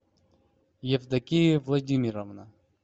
евдокия владимировна